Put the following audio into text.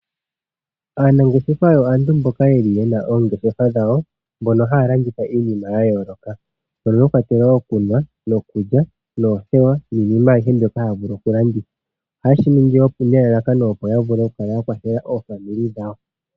Aanangeshefa aantu mboka yena oongeshefa dhawo. Ohaya landitha iinima ya yooloka. Mwakwatelwa iikulya niikunwa, oothewa niinima ayihe mbyono haya vulu oku landitha. Ohaye shiningi ne lalakano opo ya kwathele omazimo gawo.